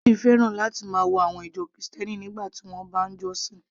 Bill fẹ́ràn láti máa wo àwọn ìjọ Kristẹni nígbà tí wọ́n bá ń jọ́sìn